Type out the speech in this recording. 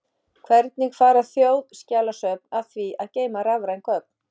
Hvernig fara þjóðskjalasöfn að því að geyma rafræn gögn?